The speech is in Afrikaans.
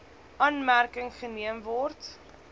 aanmerking geneem word